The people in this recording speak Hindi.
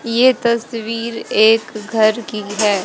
ये तस्वीर एक घर की हैं।